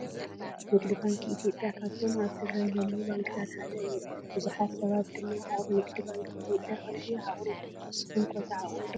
ንግዲ ባንኪ ኢትዮጵያ ካብቶ ኣብ ትግራይ ዘለዉ ባንክታት ሓደ እዩ። ቡዝሑት ሰባት ድማ ኣብ ንግዲ ባንኪ ኢትዮጵያ ቅርሺ ይዓቁሩ ።ንስኩምከ ትዓቁሩ ዶ?